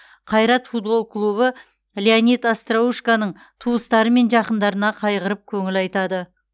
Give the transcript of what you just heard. қайрат футбол клубы леонид остроушконың туыстары мен жақындарына қайғырып көңіл айтады